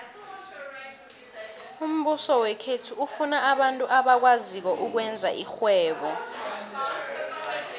umbuso wekhethu ufuna abantu abakwaziko ukwenza irhwebo